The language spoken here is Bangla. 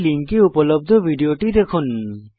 এই লিঙ্কে উপলব্ধ ভিডিও টি দেখুন